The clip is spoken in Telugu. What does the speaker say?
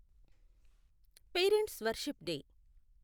parents' worship day